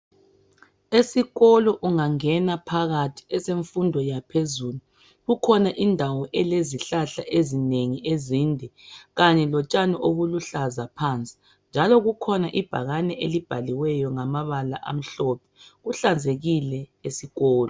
Esikolo ungangena phakathi esemfundo yaphezulu kukhona indawo elezihlahla ezinengi ezide kanye lotshani oluluhlazi phansi njalo kukhona ibhakane elibhaliweyo ngamabala amhlophe kuhlazekile esikolo.